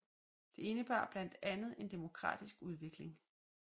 Det indebar blandt andet en demokratisk udvikling